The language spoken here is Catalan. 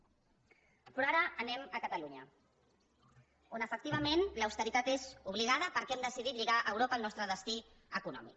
però ara anem a catalunya on efectivament l’austeritat és obligada perquè hem decidit lligar a europa el nostre destí econòmic